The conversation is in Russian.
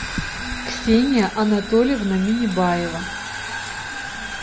ксения анатольевна минибаева